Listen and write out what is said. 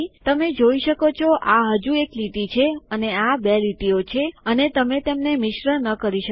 તમે જોઈ શકો છો આ હજુ એક લીટી છે અને આ બે લીટીઓ છે અને તમે તેમને મિશ્ર ન કરી શકો